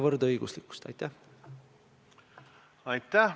Austatud Riigikogu esimees!